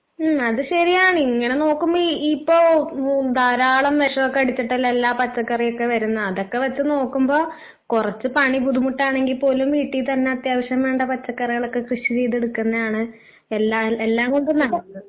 ഉം അത് ശരിയാണ് ഇങ്ങനെ നോക്കുമ്പോ ഈ ഇപ്പൊ ഉം ധാരാളം വിഷം ഒക്കെ അടിച്ചട്ടലെ എല്ലാ പച്ചക്കറിയൊക്കെ വരുന്നേ അതൊക്കെ വച്ച് നോക്കുമ്പോ കൊറച്ച് പണി ബുദ്ധിമുട്ടാണെങ്കി പോലും വീട്ടിൽ തന്നെ അത്യാവശ്യം വേണ്ട പച്ചക്കറികളൊക്കെ കൃഷി ചെയ്തെടുക്കുന്നതാണ് എല്ലാ എല്ലാം കൊണ്ടും നല്ലത്.